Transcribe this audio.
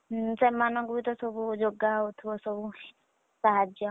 ହୁଁ ସେମାନଙ୍କୁ ବିତ ସବୁ ଯୋଗାହଉଥିବ ସବୁ ସାହାଯ୍ୟ।